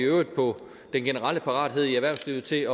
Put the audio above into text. i øvrigt på den generelle parathed i erhvervslivet til